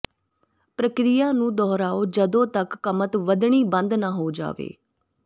ਪ੍ਰਕਿਰਿਆ ਨੂੰ ਦੁਹਰਾਓ ਜਦੋਂ ਤੱਕ ਕਮਤ ਵਧਣੀ ਬੰਦ ਨਾ ਹੋ ਜਾਵੇ